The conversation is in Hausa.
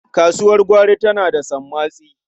Kasuwar gwari tana da sammatsi.